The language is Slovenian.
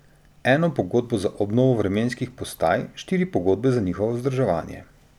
Eno pogodbo za obnovo vremenskih postaj, štiri pogodbe za njihovo vzdrževanje.